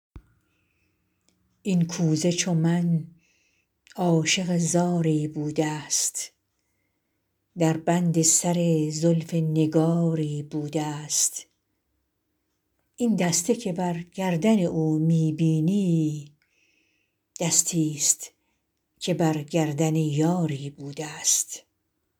این کوزه چو من عاشق زاری بوده ست در بند سر زلف نگاری بوده ست این دسته که بر گردن او می بینی دستی ست که بر گردن یاری بوده ست